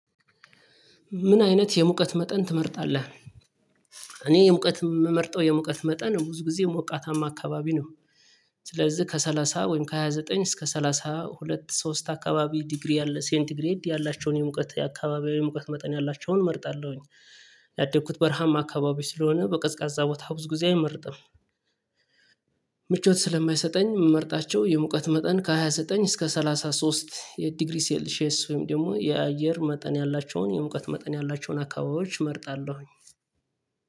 ምን አይነት የሙቀት መጠን ትመርጣለህ? እኔ የሙቀት የምመርጠው የሙቀት መጠን ብዙ ጊዜ ሞቃታማ አካባቢ ነው። ስለዚህ ከሰላሳ ወይም ከሃያ ዘጠኝ እስከ ሰላሳ ሁለት ሶስት አካባቢ ዲግሪ ያለ ሴንት ግሬድ ያላቸውን የሙቀት የአካባቢ የሙቀት መጠን ያላቸውን እመርጣለሁኝ። ያደኩት በረሃማ አካባቢ ስለሆነ በቀዝቃዛ ቦታ ብዙ ጊዜ አይመርጥም። ምቾት ስለማይሰጠኝ የምመርጣቸው የሙቀት መጠን ከሃያ ዘጠኝ እስከ ሰላሳ ሶስት የዲግሪ ሴልሼስ ወይም ደግሞ የአየር መጠን ያላቸውን የሙቀት መጠን ያላቸውን አካባቢዎች እመርጣለሁኝ